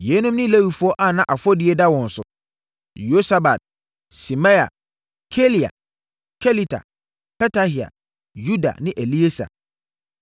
Yeinom ne Lewifoɔ a na afɔdie da wɔn so: Yosabad, Simei, Kelaia, Kelita, Petahia, Yuda ne Elieser.